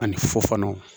Ani fufunu